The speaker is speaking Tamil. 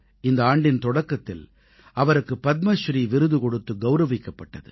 இந்த ஆண்டின் தொடக்கத்தில் அவருக்கு பத்மஸ்ரீ விருது கொடுத்து கௌரவிக்கப்பட்டது